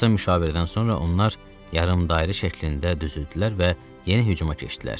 Qısa müşavirədən sonra onlar yarımdairə şəklində düzüldülər və yeni hücuma keçdilər.